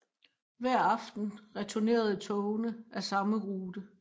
Hver aften returnerede togene af samme rute